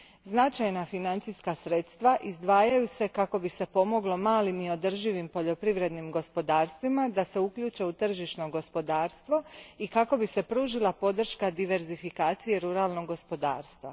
Značajna sredstva izdvajaju se kako bi se pomoglo malim i održivim poljoprivrednim gospodarstvima da se uključe u tržišno gospodarstvo i kako bi se pružila podrška diversifikaciji ruralnog gospodarstva.